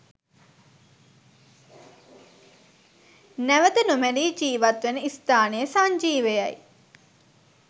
නැවත නොමැරී ජීවත්වන ස්ථානය සංජීවයයි.